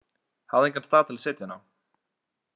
Hafði engan stað til að setja hana á.